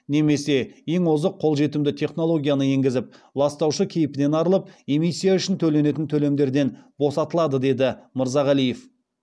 немесе ең озық қолжетімді технологияны енгізіп ластаушы кейпінен арылып эмиссия үшін төленетін төлемдерден босатылады деді мырзағалиев